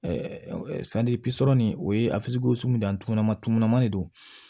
nin o ye dan ma tunu ma ne de don